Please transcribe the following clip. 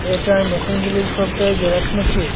এটার মেশিনগুলি সবটাই জেরক্স মেশিন ।